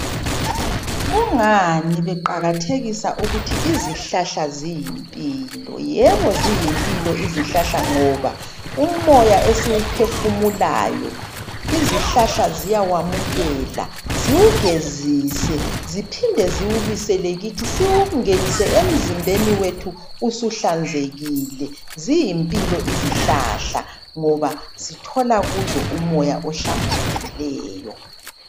Kungani beqaiathekisa ukuthi izihlahla ziyimpilo? Yebo ziyimpilo izihlahla, ngoba umoya esiwuphefumulayo, izihlahla ziyawamukela. Ziwugezise, ziphinde ziwubuyisele kithi. Siwungenise emizimbeni yethu usuhlanzekile. Ziyimpilo izihlahla ngoba sithola kuzo umoya ohlambulukileyo.